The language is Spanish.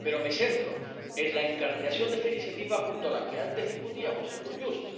Pero me centro en la incardinación de esta iniciativa junto a la que antes discutíamos, Eurojust.